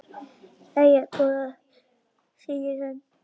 Jæja góða, segir hann.